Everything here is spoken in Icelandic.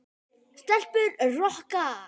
Stelpur Rokka!